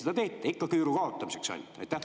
Ikka küüru kaotamiseks ainult?